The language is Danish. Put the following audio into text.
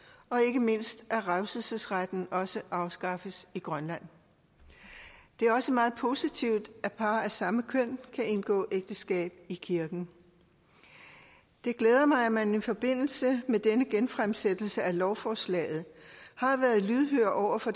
og ikke mindst at revselsesretten også afskaffes i grønland det er også meget positivt at par af samme køn kan indgå ægteskab i kirken det glæder mig at man i forbindelse med denne genfremsættelse af lovforslaget har været lydhør over for